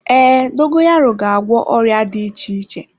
Ee, dogoyaro ga-agwọ ọrịa dị iche iche.